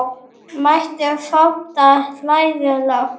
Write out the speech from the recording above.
Mæltu fátt og hlæðu lágt.